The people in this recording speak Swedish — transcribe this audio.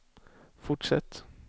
fortsätt